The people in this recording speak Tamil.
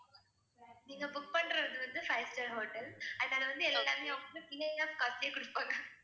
நீங்க book பண்றது வந்து five star ஹோட்டல் அதனால வந்து எல்லாமே free of cost லே கொடுப்பாங்க